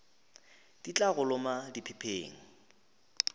di tla go loma diphepheng